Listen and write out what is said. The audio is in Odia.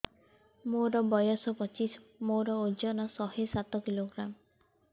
ମୋର ବୟସ ପଚିଶି ମୋର ଓଜନ ଶହେ ସାତ କିଲୋଗ୍ରାମ